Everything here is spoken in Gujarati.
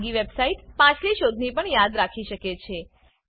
ખાનગી વેબસાઈટ પાછલી શોધની પણ યાદ રાખી શકે છે